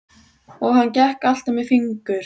Og hann gekk alltaf með fingur